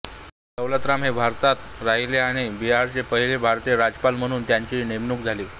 दौलतराम हे भारतात राहिले आणि बिहारचे पहिले भारतीय राज्यपाल म्हणून त्यांची नेमणूक झाली